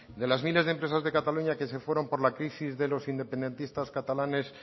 de las miles de empresas de cataluña que se fueron por la crisis de los independentistas catalanes